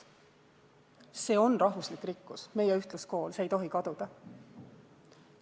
Meie ühtluskool on rahvuslik rikkus, see ei tohi kaduda.